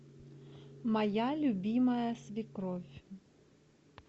моя любимая свекровь